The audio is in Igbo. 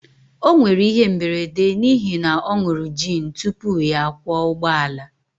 o nwere ihe mberede n'ihi na ọ ṅụru gin tupu ya akwọ ụgbọala